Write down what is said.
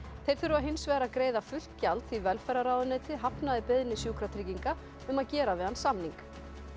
þeir þurfa hins vegar að greiða fullt gjald því velferðarráðuneytið hafnaði beiðni Sjúkratrygginga um að gera við hann samning